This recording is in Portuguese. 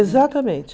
Exatamente.